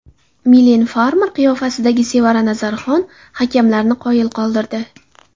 Milen Farmer qiyofasidagi Sevara Nazarxon hakamlarni qoyil qoldirdi.